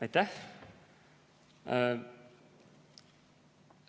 Aitäh!